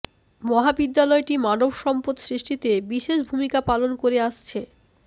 মহাবিদ্যালয়টি মানব সম্পদ সৃষ্টিতে বিশেষ ভূমিকা পালন করে আসছে